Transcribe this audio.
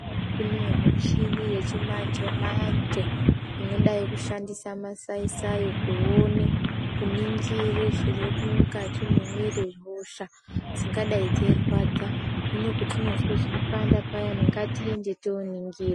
Kune michini yechimanje manje inidayi kushandisa masaisai kuone kuningira zviri mukati mwemiri hosha dzingadai dzeyirwadza hino patinozwe zveyipanda payani ngatiende tinoningirwa.